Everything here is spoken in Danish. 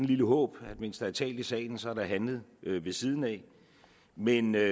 lille håb mens der er talt i salen er der handlet ved siden af men